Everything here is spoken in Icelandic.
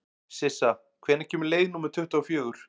Sissa, hvenær kemur leið númer tuttugu og fjögur?